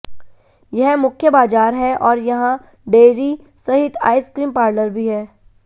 यह मुख्य बाजार है और यहां डेयरी सहित आइसक्रीम पार्लर भी है